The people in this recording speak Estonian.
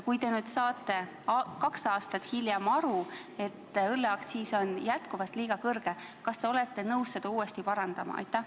Kui te saate kahe aasta pärast aru, et õlleaktsiis on siiski liiga kõrge, kas te olete nõus seda viga uuesti parandama?